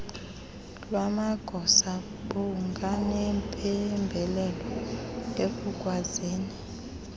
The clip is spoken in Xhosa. lwamagosa bunganempembelelo ekukwazini